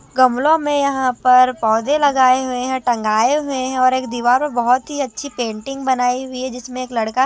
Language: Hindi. गमलों में यहां पर पौधे लगाए हुए हैं टंगाये हुए हैं और एक दीवार में बहोत ही अच्छी पेंटिंग बनाई हुई है जिसमें एक लड़का--